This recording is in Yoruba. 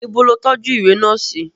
Ìbọ̀ ló tójú ìwé náà sí.